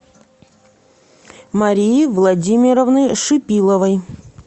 марии владимировны шипиловой